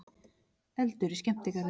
Eldur í skemmtigarði